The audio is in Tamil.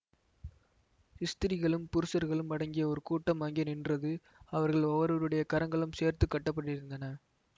ஸ்திரீகளும் புருஷர்களும் அடங்கிய ஒரு கூட்டம் அங்கே நின்றது அவர்கள் ஒவ்வொருவருடைய கரங்களும் சேர்த்து கட்டப்பட்டிருந்தன